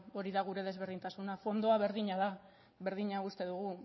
hori da gure desberdintasuna fondoa berdina da berdina uste dugu